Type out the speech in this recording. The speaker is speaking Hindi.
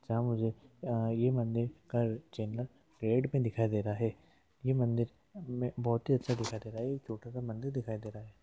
सा मुझे यह मंदिर पेड़ में दिखाई दे रहा हैं यह मंदिर बहोत ही अच्छा दिखाई दे रहा है छोटा सा मंदिर दिखाई दे रहा है।